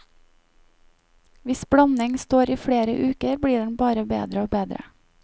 Hvis blanding står i flere uker blir den bare bedre og bedre.